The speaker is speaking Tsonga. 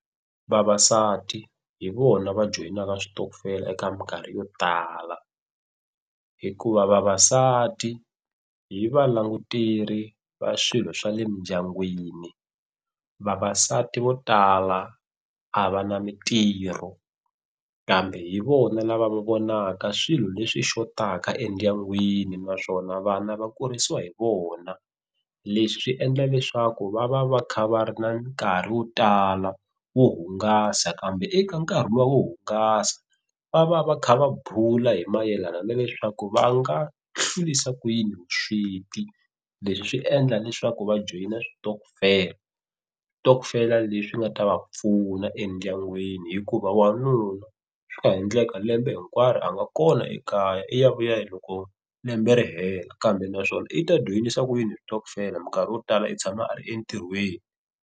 Vavasati hi vona va joyinaka switokofela eka minkarhi yo tala hikuva vavasati hi va languteri va swilo swa le mindyangwini. Vavasati vo tala a va na mintirho kambe hi vona lava va vonaka swilo leswi xotaka endyangwini naswona vana va kurisiwa hi vona. Leswi swi endla leswaku va va va kha va ri na nkarhi wo tala wo hungasa kambe eka nkarhi lowu wo hungasa va va va kha va bula hi mayelana na leswaku va nga hlurisa ku yini vusweti. Leswi swi endla leswaku va joyina switokofela. Switokofela leswi nga ta va pfuna endyangwini hikuva wanuna swi nga ha endleka lembe hinkwaro a nga kona ekaya i ya vuya hi loko lembe ri hela kambe naswona i ta joyinisa ku yini switokofela minkarhi yo tala i tshama a ri entirhweni.